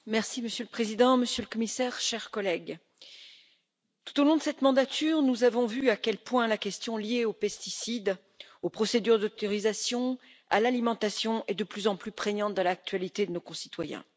Monsieur le Président, Monsieur le Commissaire, chers collègues, tout au long de cette mandature, nous avons vu à quel point la question liée aux pesticides, aux procédures d'autorisation, à l'alimentation est de plus en plus prégnante dans l'actualité de nos concitoyens.